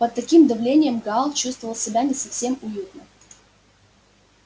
под таким давлением гал чувствовал себя не совсем уютно